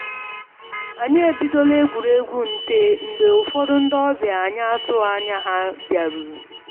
Anyi ebidola egwuruegwu nte mgbe ụfọdụ ndị ọbịa anyị atụghị anya ha bịaruru